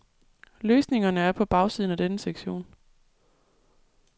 Løsningerne er på bagsiden af denne sektion.